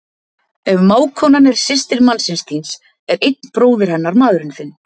Ef mágkonan er systir mannsins þíns er einn bróðir hennar maðurinn þinn.